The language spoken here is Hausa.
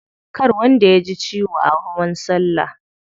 Kar wanda yaji ciwo a hawan salla.